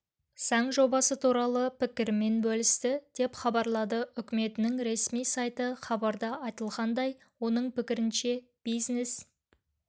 заң жобасы туралы пікірімен бөлісті деп хабарлады үкіметінің ресми сайты хабарда айтылғандай оның пікірінше бизнес